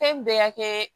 Fɛn bɛɛ y'a kɛ